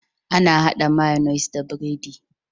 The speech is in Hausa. Ana hada mayonnaise da biredi